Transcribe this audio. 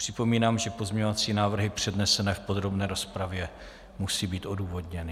Připomínám, že pozměňovací návrhy přednesené v podrobné rozpravě musí být odůvodněny.